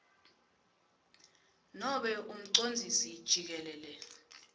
nobe umcondzisi jikelele